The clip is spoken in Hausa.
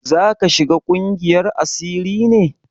Zaka shiga ƙungiyar asiri ne?